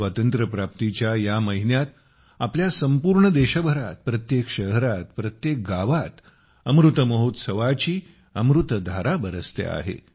स्वातंत्र्यप्राप्तीच्या या महिन्यात आपल्या संपूर्ण देशभरात प्रत्येक शहरात प्रत्येक गावात अमृत महोत्सवाची अमृतधाराबरसते आहे